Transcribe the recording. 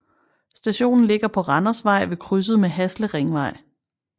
Stationen ligger på Randersvej ved krydset med Hasle Ringvej